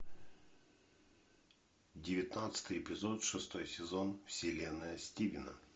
девятнадцатый эпизод шестой сезон вселенная стивена